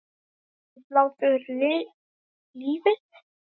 Lengir hlátur lífið?